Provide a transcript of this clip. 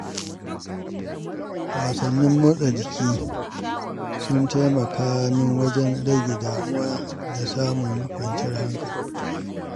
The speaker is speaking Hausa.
Wasannin motsa jiki sun taimaka min wajen rage damuwa da samun kwanciyar hankali.